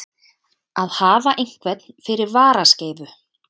Að hafa einhvern fyrir varaskeifu